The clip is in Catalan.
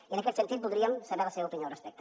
i en aquest sentit voldríem saber la seva opinió al respecte